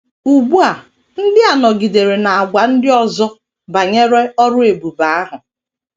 Ugbu a ndị a nọgidere na - agwa ndị ọzọ banyere ọrụ ebube ahụ.